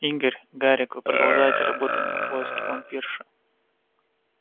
игорь гарик вы продолжаете работать на поиске вампирши